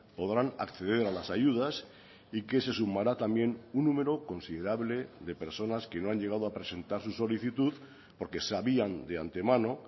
podrán acceder a las ayudas y que se sumará también un número considerable de personas que no han llegado a presentar su solicitud porque sabían de antemano